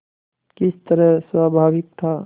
किस तरह स्वाभाविक था